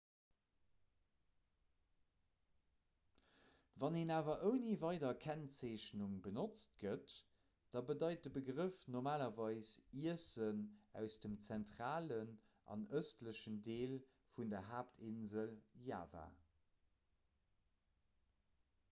wann en awer ouni weider kennzeechnung benotzt gëtt da bedeit de begrëff normalerweis iessen aus dem zentralen an ëstlechen deel vun der haaptinsel java